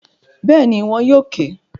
Bẹ́ẹ̀ni, wọn yóò ìk